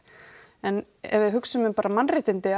en ef við hugsum bara um mannréttindi að